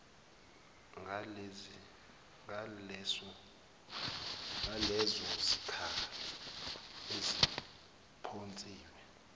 ngalezo zikhali eziphonsiwe